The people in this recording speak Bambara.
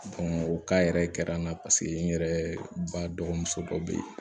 o yɛrɛ kɛra n na paseke n yɛrɛ ba dɔgɔmuso dɔ bɛ yen